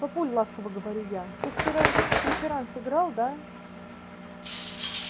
папуль ласково говорю я ты вчера же в преферанс играл да